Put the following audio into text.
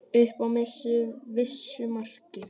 Upp að vissu marki.